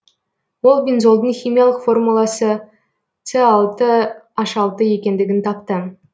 ол бензолдың химиялық формуласы с алты аш алты екендігін тапты